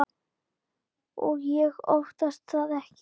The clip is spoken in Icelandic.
Og ég óttast það ekki.